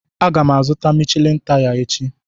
Aga m azụta taya Michelin echi.